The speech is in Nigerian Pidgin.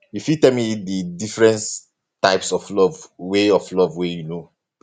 you fit tell me di difference types of love wey of love wey you know